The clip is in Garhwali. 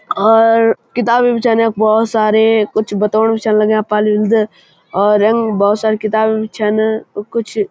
और किताबें भी छन यख बहौत सारी कुछ बातोंण भी छन लग्यां पालिउन्द औरंग बहौत सारी किताबें भी छन कुछ --